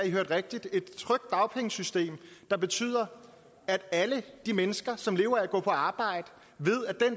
i hørte rigtigt et trygt dagpengesystem der betyder at alle de mennesker som lever af at gå på arbejde ved